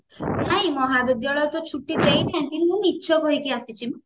ନାଇଁ ମହାବିଦ୍ୟାଳୟ ତ ଛୁଟି ଦେଇ ନାହାନ୍ତି ମୁଁ ମିଛ କହିକି ଆସିଛି